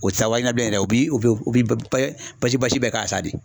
O tɛ taa wariɲini na bilen dɛ u bi u bi u bɛ basi basi bɛɛ k'a sa de.